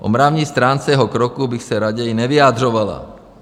O mravní stránce jeho kroků bych se raději nevyjadřovala.